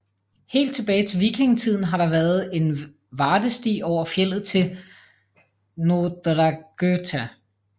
Helt tilbage til vikingetiden har der været en vardesti over fjeldet til Norðragøta